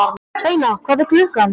Sveina, hvað er klukkan?